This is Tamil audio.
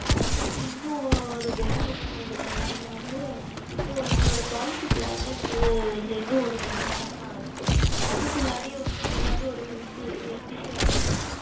அதுக்கு அடுத்து இன்னொரு benefit என்னவென்றால் நீங்கள் வந்து இப்பொழுது எங்களுடைய Policy Plan சேர்ந்து ஓர் இரண்டு மாதம் தான் ஆகிறது அதற்குள் உங்களுக்கு வந்து எதாவது Health Issue ஆகிறது